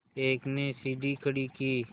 एक ने सीढ़ी खड़ी की